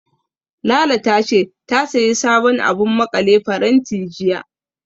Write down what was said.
Lala ta ce, ta sayi sabon abun maƙale faranti, jiya.